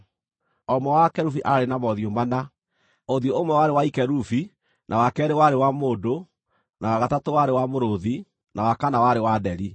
O ũmwe wa akerubi aarĩ na mothiũ mana: Ũthiũ ũmwe warĩ wa kerubi, na wa keerĩ warĩ wa mũndũ, na wa gatatũ warĩ wa mũrũũthi, na wa kana warĩ wa nderi.